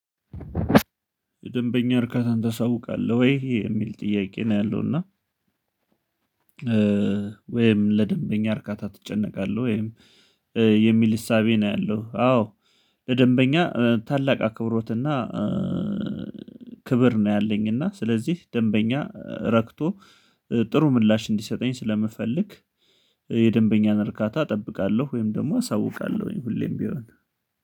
ለደንበኛ እርካታን ታሳውቃለሁ ወይ የሚል ጥያቄ ነው ያለው እና ወይም ለደንበኛ እርካታ ትጨነቃለህ ወይም የሚል እሳቤ ነው ያለው? አዎ። ለደንበኛ ታላቅ አክብሮትና ክብር ነው ያለኝና ስለዚህ ደንበኛ ረክቶ ጥሩ ምላሽ እንዲሰጠኝ ስለምፈልግ የደንበኛን እርካታ እጠብቃለሁ ወይም ደግሞ አሳውቃለሁኝ ሁሌም ቢሆን